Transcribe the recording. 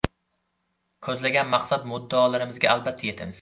Ko‘zlagan maqsad-muddaolarimizga albatta yetamiz!